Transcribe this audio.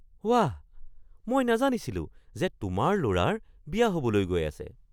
ৱাহ! মই নাজানিছিলোঁ যে তোমাৰ ল’ৰাৰ বিয়া হ’বলৈ গৈ আছে!